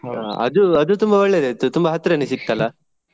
ಅದು ಅದು ತುಂಬಾ ಒಳ್ಳೆದಾಯ್ತು ತುಂಬಾ ಹತ್ರನೇ ಸಿಕ್ತಲ್ಲಾ.